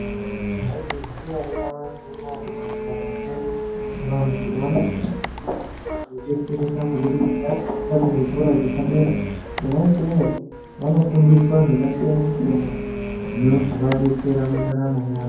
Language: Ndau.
Maizviziya ere nyamashi unowu kuti mundaramo mwedu vantu vanosisa kunge vei detsereka kubudikidza ngekuenda kuzvikora zvepadera. Kona ikweyo vano fundiswa zvakasiyana -siyana zvino zovadetsera mundaramo yavo.